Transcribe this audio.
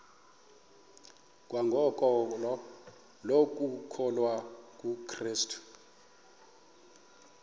kwangokholo lokukholwa kukrestu